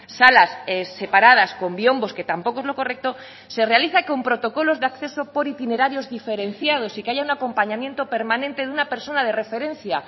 salas separadas con biombos que tampoco es lo correcto se realiza con protocolos de acceso por itinerarios diferenciados y que haya un acompañamiento permanente de una persona de referencia